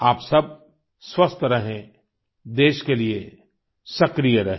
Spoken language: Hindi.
आप सब स्वस्थ रहें देश के लिए सक्रिय रहें